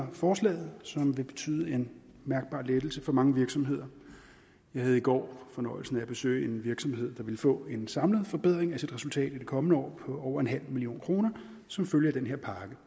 forslaget som vil betyde en mærkbar lettelse for mange virksomheder jeg havde i går fornøjelsen af at besøge en virksomhed der vil få en samlet forbedring af sit resultat i det kommende år på over en halv million kroner som følge af den her pakke